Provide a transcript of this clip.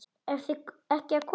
Eruð þið ekki að koma?